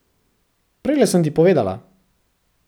Prejle sem ti povedala.